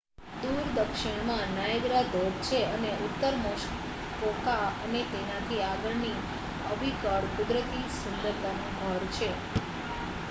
દૂર દક્ષિણમાં નાયગ્રા ધોધ છે અને ઉત્તર મસ્કોકા અને તેનાથી આગળની અવિકળ કુદરતી સુંદરતાનું ઘર છે